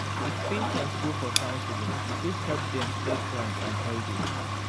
if patients go for counseling e fit help dem stay strong and healthy.